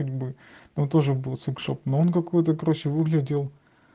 ну тоже чтоб нам какой-то короче выглядел